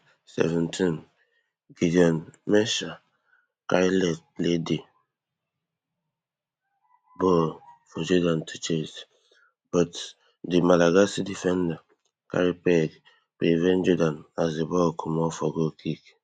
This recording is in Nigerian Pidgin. seventeengideon mensah carry left play di ball for jordan to chase but di malagasy defender carry peg prevent jordan as di ball comot for goalkick